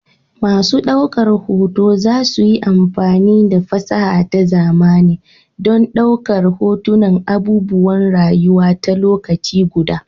Masu daukar hoto za su yi amfani da fasaha ta zamani don ɗaukar hotunan abubuwan rayuwa a lokaci guda.